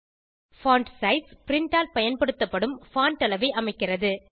font size print ஆல் பயன்படுத்தப்படும் font அளவை அமைக்கிறது